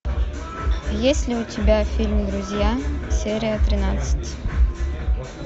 есть ли у тебя фильм друзья серия тринадцать